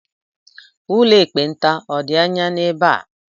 Ụlọ ekpenta ọ̀ dị anya n'ebe a?